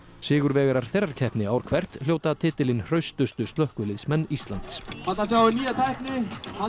sigurvegarar þeirrar keppni ár hvert hljóta titilinn hraustustu slökkviliðsmenn Íslands ný tækni